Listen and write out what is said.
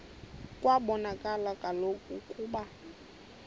kwabonakala kaloku ukuba